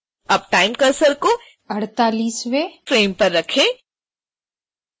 अब time cursor को 48